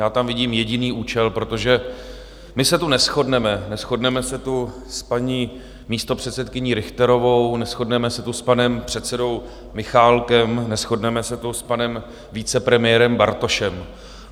Já tam vidím jediný účel, protože my se tu neshodneme, neshodneme se tu s paní místopředsedkyní Richterovou, neshodneme se tu s panem předsedou Michálkem, neshodneme se tu s panem vicepremiérem Bartošem.